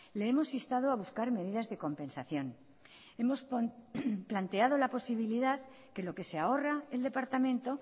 le hemos instado a buscar medidas de compensación hemos planteado la posibilidad que lo que se ahorra el departamento